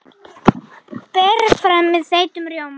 Berið fram með þeyttum rjóma.